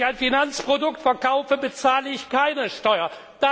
Wenn ich ein Finanzprodukt verkaufe bezahle ich keine Steuer.